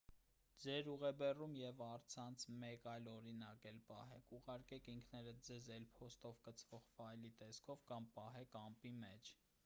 ձեր ուղեբեռում և առցանց մեկ այլ օրինակ էլ պահեք ուղարկեք ինքներդ ձեզ էլ. փոստով կցվող ֆայլի տեսքով կամ պահեք «ամպի» մեջ: